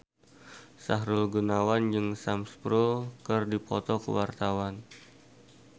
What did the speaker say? Sahrul Gunawan jeung Sam Spruell keur dipoto ku wartawan